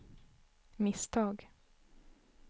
misstag